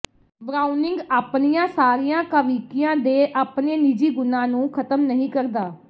Browning ਆਪਣੀਆਂ ਸਾਰੀਆਂ ਕਾਵਿਕੀਆਂ ਦੇ ਆਪਣੇ ਨਿੱਜੀ ਗੁਣਾਂ ਨੂੰ ਖ਼ਤਮ ਨਹੀਂ ਕਰਦਾ